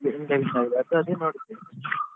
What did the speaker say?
ನೋಡಿದ್ದೇ.